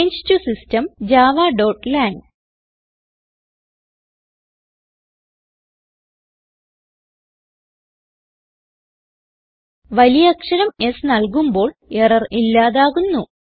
ചങ്ങെ ടോ സിസ്റ്റം javaലാങ് വലിയ അക്ഷരം S നൽകുമ്പോൾ എറർ ഇല്ലാതാകുന്നു